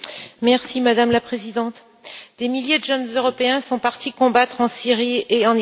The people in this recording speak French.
Madame la Présidente, des milliers de jeunes Européens sont partis combattre en Syrie et en Irak.